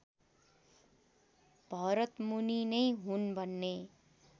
भरतमुनि नै हुन् भन्ने